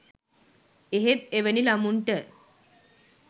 එහෙත් එවැනි ළමුන්ට